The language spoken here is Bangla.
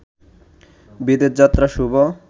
বিদেশযাত্রা শুভ